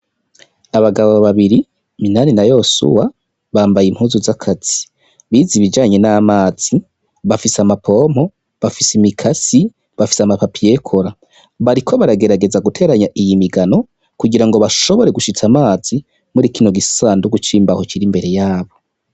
Abagabo babiri MINANI na YOSUWA bambaye impuzu z'akazi bize ibijanye n' amazi bafise ama pompo bafise imikasi bafise ama papiye kora bariko bagerageza guterateranya iyi migano kugira ngo bashobore gushitsa amazi muri kino gisanduhu c'imbaho kiri imbere yabo.